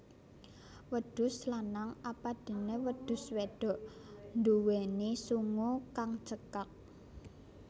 Wedhus lanang apadéné wedhus wédok nduwéni sungu kang cekak